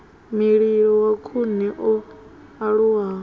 mililo wa khuni o aluwa